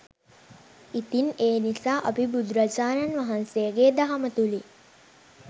ඉතින් ඒ නිසා අපි බුදුරජාණන් වහන්සේගේ දහම තුළින්